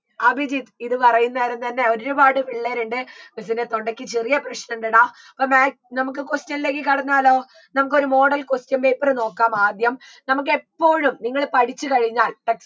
അഭിജിത്ത് ഇത് പറയുന്നേരം തന്നെ ഒരുപാട് പിള്ളേരുണ്ട് miss ൻറെ തൊണ്ടയ്ക്ക് ചെറിയ പ്രശ്‌ണുണ്ടെടാ അപ്പൊ maths നമുക്ക് question ലേക്ക് കടന്നാലോ നമുക്കൊരു model question paper നോക്കാം ആദ്യം നമുക്കെപ്പോഴും നിങ്ങൾ പഠിച്ച് കഴിഞ്ഞാൽ